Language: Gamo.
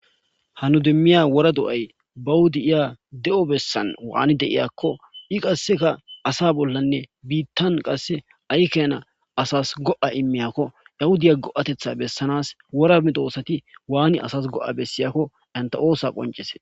hanu dummiya wora do7ay bawuda iya de7o bessan waani deiyakko i qasseka asa bollanne biittan qasse aykena asas go7a immiyakko yahudaya go7atetha bessanas wora mitooosati waani asas go7a bessiyakko anta oosa qoncese